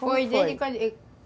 foi